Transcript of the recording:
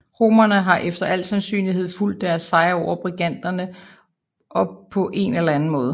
Romerne har efter alt sandsynlighed fulgt deres sejr over briganterne op på en eller anden måde